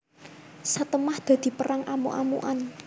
Satemah dadi perang amuk amukan